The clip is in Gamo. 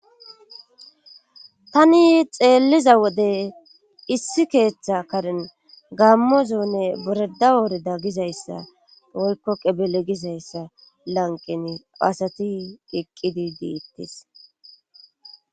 ani xeelliza wode issi keeththa karen gammo zone boreda woreda gizayssa boykko qebele gizayssa lanqeni asati iqqidi diittis